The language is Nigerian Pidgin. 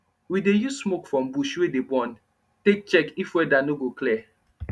we dey use smoke from bush wey dey burn take check if weather no go clear